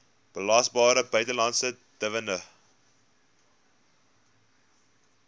belasbare buitelandse dividend